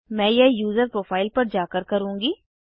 मैं यह user profile पर जाकर करुँगी